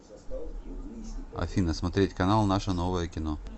афина смотреть канал наше новое кино